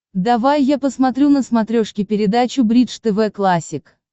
давай я посмотрю на смотрешке передачу бридж тв классик